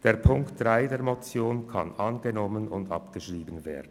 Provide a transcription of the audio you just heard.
Die Ziffer 3 der Motion kann angenommen und abgeschrieben werden.